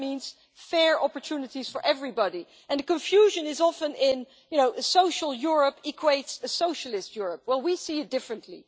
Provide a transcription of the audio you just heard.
And that means fair opportunities for everybody, and confusion is often in social Europe equates a socialist Europe, well we see it differently.